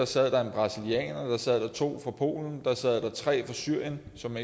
sad der en brasilianer to fra polen tre fra syrien som